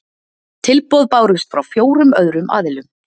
Tilboð bárust frá fjórum öðrum aðilum